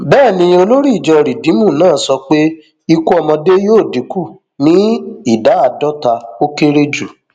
bẹẹ ni olórí ìjọ rìdíìmù náà sọ pé ikú ọmọdé yóò dínkù ní ìdá àdọta ó kéré jù